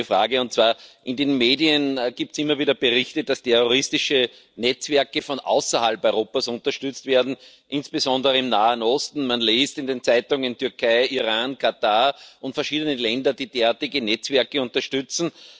Ich hätte eine Frage In den Medien gibt es immer wieder Berichte, dass terroristische Netzwerke von außerhalb Europas unterstützt werden, insbesondere im Nahen Osten. Man liest in den Zeitungen, dass die Türkei, Iran, Katar und verschiedene Länder derartige Netzwerke unterstützen.